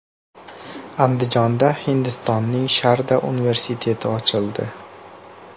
Andijonda Hindistonning Sharda universiteti ochildi .